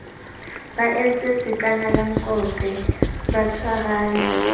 ba entse sakanalankope ba tshwarane